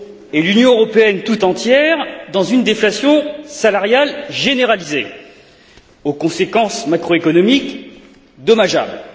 et l'Union européenne tout entière dans une déflation salariale généralisée aux conséquences macroéconomiques dommageables.